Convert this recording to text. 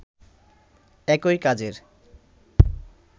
একই কাজের